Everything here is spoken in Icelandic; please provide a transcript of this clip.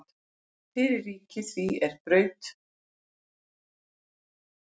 Fyrir ríki því er í Braut nefndist.